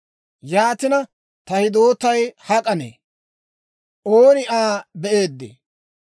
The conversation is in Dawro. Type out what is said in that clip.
Yaatina, ta hidootay hak'anee? Ooni Aa be'eeddee?